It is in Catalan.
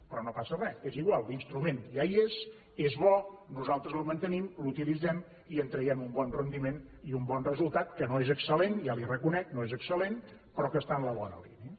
però no passa re és igual l’instrument ja hi és és bo nosaltres el mantenim l’utilitzem i en traiem un bon rendiment i un bon resultat que no és excel·lent ja li ho reconec no és excel·lent però que està en la bona línia